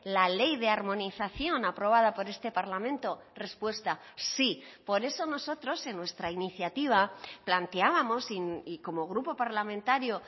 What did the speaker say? la ley de armonización aprobada por este parlamento respuesta sí por eso nosotros en nuestra iniciativa planteábamos y como grupo parlamentario